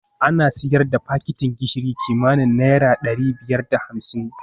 Ana sayar da fakitin gishiri kimanin naira dari biyar da hamsin